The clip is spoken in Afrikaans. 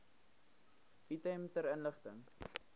item ter inligting